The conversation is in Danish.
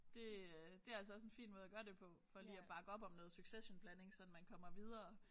Det øh det altså også en fin måde at gøre det på for lige at bakke op om noget successionblanding sådan man kommer videre